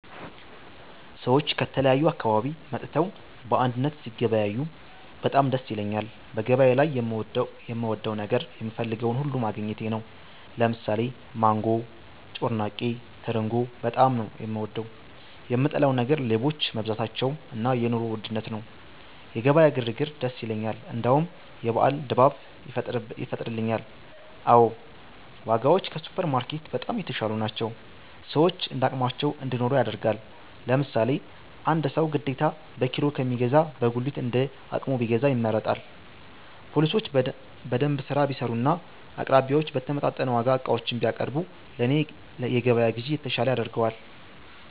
ሰዎች ከተለያዩ አካባቢ መጥተው በአንድነት ሲገበያዬ በጣም ደስ ይለኛል በገበያ ላይ የምወደው ነገር የምፈልገውን ሁሉ ማግኘቴ ነው። ለምሳሌ ማንጎ፤ ጮርናቄ፤ ትርንጎ በጣም ነው፤ የምወደው። የምጠላው ነገር ሌቦች መብዛታቸው እና የ ኑሮ ውድነት ነው። የገበያ ግር ግር ደስ ይለኛል እንደውም የበአል ድባብ ይፈጥርልኛል። አዎ ! ዋጋዎች ከሱፐር ማርኬት በጣም የተሻሉ ናቸው፤ ሰዎች እንዳቅማቸው እንዲኖሩ ያደርጋል። ለምሳሌ አንድ ሰው ግዴታ በኪሎ ከሚገዛ በጉሊት እንደ አቅሙ ቢገዛ ይመረጣል። ፓሊሶች በደንብ ስራ ቢሰሩና አቅራቢዮች በተመጣጠነ ዋጋ ዕቃዎችን ቢያቀርቡ ለኔ የገበያ ግዢ የተሻለ ያደርገዋል